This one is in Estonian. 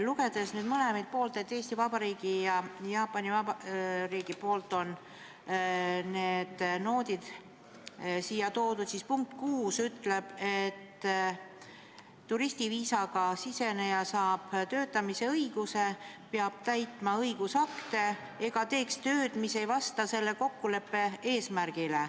Lugedes nüüd, et mõlemalt poolt, Eesti Vabariigi ja Jaapani poolt on need noodid siia toodud, siis punkt 6 ütleb, et turistiviisaga siseneja saab töötamisõiguse, peab täitma õigusakte ega tohi teha tööd, mis ei vasta selle kokkuleppe eesmärgile.